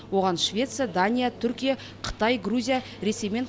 оған швеция дания түркия қытай грузия ресей мен